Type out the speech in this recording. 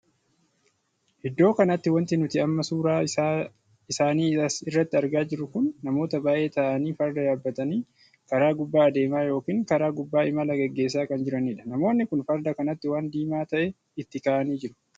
Iddoo kanatti wanti nuti amma suuraa isaabii as irratti argaa jirru kun namoota baay'ee taa'anii farda yaabbatanii karaa gubbaa adeemaa yookiin karaa gubbaa imala geggeessan kan jiranidha. namoonni kun farda kanatti waan diimaa tahe itti kaa'anii jiru.